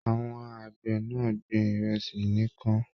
Àwọn àgbẹ náà gbìn ìrẹsì nìkàn.